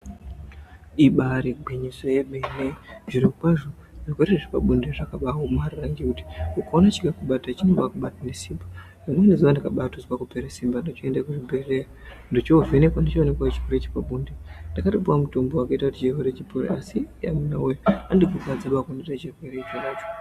Ibari gwinyiso yemene zviro kwazvo zvirwere zvepabonde zvakabaaomarara ngekuti ukaona chikakubata chinobakubate nesimba rimweni zuwa ndakabatozwa kupera simba ndochoende kuchibhedhlera ndochovhenekwa ndochoonekwe chirwere chepabonde ndakatopuwa mutombo wakaita kuti chipore asi yamuna woye andikurwadziba kunoita chirwere chonacho.